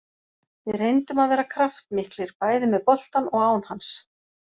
Við reyndum að vera kraftmiklir, bæði með boltann og án hans.